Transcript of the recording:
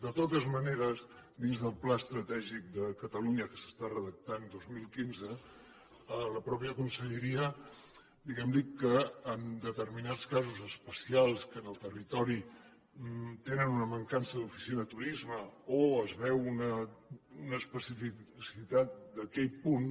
de totes maneres dins del pla estratègic de catalunya que s’està redactant dos mil quinze la mateixa conselleria diguem ne que en determinats casos especials que en el territori tenen una mancança d’oficina de turisme o es veu una especificitat d’aquell punt